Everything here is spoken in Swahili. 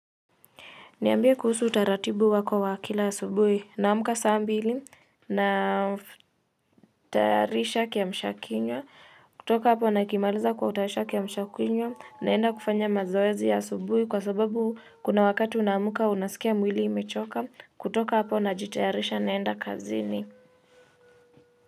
Niambie kuhusu utaratibu wako wa kila asubuhi? Namka saa mbili na tayarisha kiamsha kinywa, kutoka hapo nakimaliza kutayarisha kiamsha kinywa, naenda kufanya mazoezi ya subuhi kwa sababu kuna wakati unamka unasikia mwili imechoka, kutoka hapo najitayarisha naenda kazini.